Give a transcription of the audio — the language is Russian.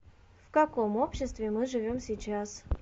в каком обществе мы живем сейчас